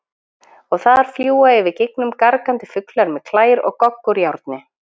Og þar fljúga yfir gígnum gargandi fuglar með klær og gogg úr járni?